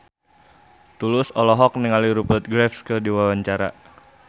Tulus olohok ningali Rupert Graves keur diwawancara